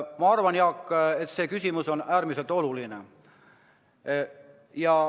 Ma arvan, Jaak, et see küsimus on äärmiselt oluline.